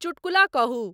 चुटकुला कहूं